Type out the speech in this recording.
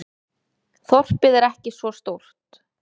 Þorpið er ekki svo stórt.